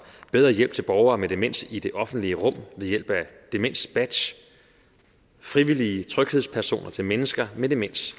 bedre hjælp til borgere med demens i det offentlige rum ved hjælp af demensbadges frivillige tryghedspersoner til mennesker med demens